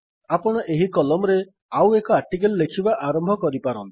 ଆପଣ ଏହି କଲମ୍ ରେ ଆଉ ଏକ ଆର୍ଟିକିଲ୍ ଲେଖିବା ଆରମ୍ଭ କରିପାରନ୍ତି